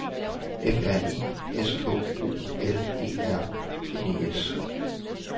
F R I S K O L E R N E S